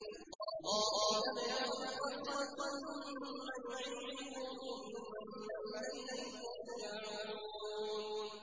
اللَّهُ يَبْدَأُ الْخَلْقَ ثُمَّ يُعِيدُهُ ثُمَّ إِلَيْهِ تُرْجَعُونَ